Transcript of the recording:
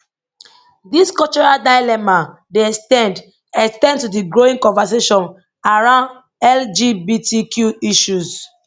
dis cultural dilemma dey ex ten d ex ten d to di growing conversation around lgbtq issues